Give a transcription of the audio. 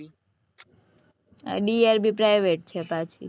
drb private છે પાછી